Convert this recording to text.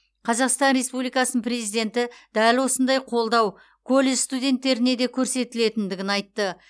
қазақстан республикасының президенті дәл осындай қолдау колледж студенттеріне де көрсетілетіндігін айтты